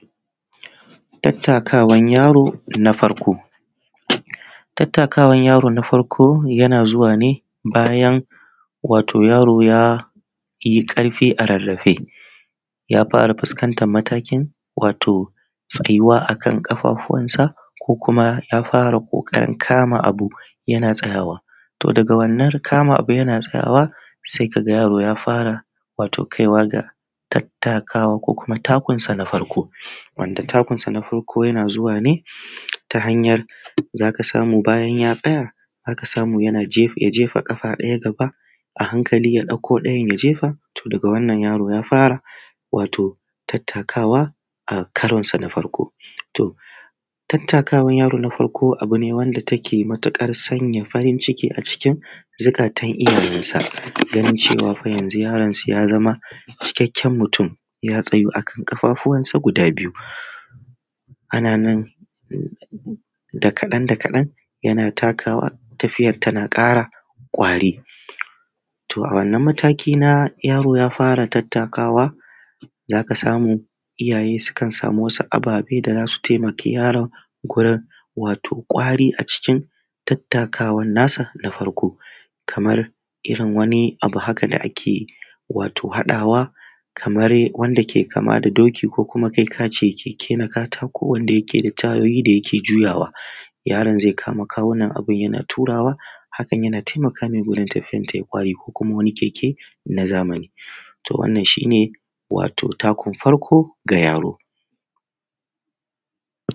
Tattakawan yari na farko, tattakawan yari na farko yanzuwa ne bayan wati yaro ya yi ƙarfi a a rarrafe ya fara fuskantar matakin tsayuwa a kan ƙafafuwansa sai ka ga yaro ya fara ƙoƙarin kama abu yana taayawa. To daga wannan kama abu yana taayawa sai ka ga yaro ya fara kaiwa ga tattakawa ko kuma takunsa na farko, wanda takunsa na farko ya kai ga cewa za ka ga ya tsaya za ka samu ya jefa ƙafa ɗaya gaba a hankali ya ɗauko ɗayan ya jefa daga wannan ya fara tattakawa a karonsa na farko. Tattakawan yaro na farko abu ne wanda yake sanya farin ciki a cikin zuƙatan iyayensa gani cewa fa yanzu yarin su ya zam a cikakken mutu ya tsayu a kan ƙafafuwansa guda biyu, da kaɗan da kaɗan yana ƙarawa tafiyarsa tana ƙara kwari. To a wannan mataki na yaro ya gara tattakawa za ka samu iyaye sukan sama wasu ababe da za su taimaki yaron wurin jin kwari wajen tattakawan nasa na farko kamar irin wani abu haka da ake yi irin haɗawa kamar wanda ke kama da doki ko kuma kainka ce keke na katako wanda yake da tayoyi da yake juyawa yaron zai kama kawunan yana turawa hakn yana taimakawa wajen tafiyar ta yi ƙwari ko kuma wani keke na zamani to wannan shi ne takun farko na yaro.